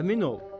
Əmin ol.